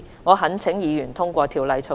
我懇請議員通過《條例草案》。